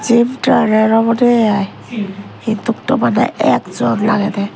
obode i he tokta madad ekjon agedey.